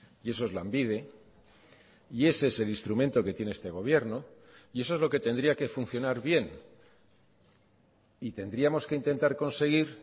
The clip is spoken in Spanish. y eso es lanbide y ese es el instrumento que tiene este gobierno y eso es lo que tendría que funcionar bien y tendríamos que intentar conseguir